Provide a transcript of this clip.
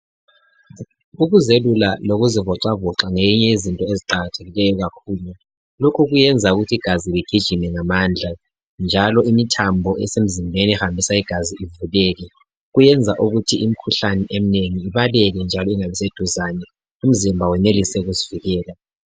Ukuzelula lokuzivoxavoxa ngeyinye yezinto eziqakathekileyo kakhulu. Lokhu kuyenza ukuthi igazi ligijime ngamandla, njalo imithambo esemzimbeni ehambisa igazi ivuleke. Kuyenza ukuthi imikhuhlane eminengi ibaleke njalo ingabi seduzane, umzimba wenelise ukuzivikela.